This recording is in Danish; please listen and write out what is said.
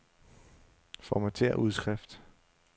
Formatér udskrift.